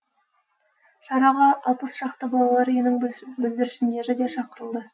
шараға алпыс шақты балалар үйінің бүлдіршіндері де шақырылды